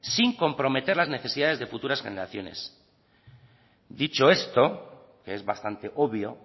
sin comprometer las necesidades de futuras generaciones dicho esto que es bastante obvio